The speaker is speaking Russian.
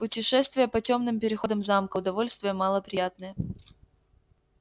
путешествие по тёмным переходам замка удовольствие мало приятное